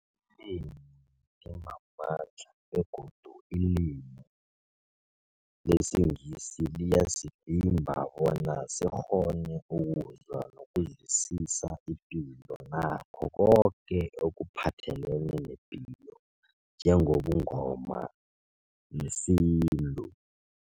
Ilimi limamandla begodu ilimi lesiNgisi liyasivimba bona sikghone ukuzwa nokuzwisisa ipilo nakho koke ekuphathelene nepilo njengobuNgoma nesintu.